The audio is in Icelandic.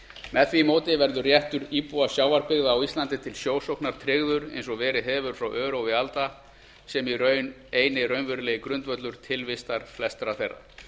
með því móti verður réttur íbúa sjávarbyggða á íslandi til sjósóknar tryggður eins og verið hefur frá örófi alda sem eini raunverulegi grundvöllur tilvistar flestra þeirra